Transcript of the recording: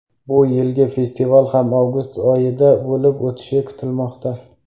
Bu yilgi festival ham avgust oyida bo‘lib o‘tishi kutilmoqda.